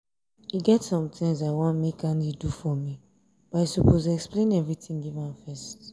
i dey tell my pikin everyday once anything happen to am for school make she come tell me